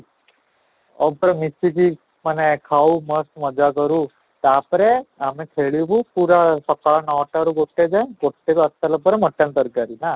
ଆଉ ପୁରା ମିଶିକି ମାନେ ଖାଉ ମସ୍ତ ମଜାକରୁ, ତା'ପରତେ ଆମେ ଖେଳବୁ ସକାଳ ନଅ ଟା ରୁ ଗୋଟେ ଯାଏଁ, ଗୋଟେରୁ ଆସି ସାରିଲା ପରେ mutton ତରକାରୀ